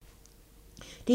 DR2